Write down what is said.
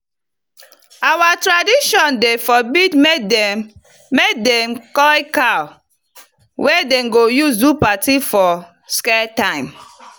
our tradition dey forbid make them make them koll cow wey dem go use do party for scared time.